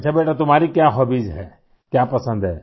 अच्छा बेटा तुम्हारी क्या हॉबीज हैं क्या पसंद है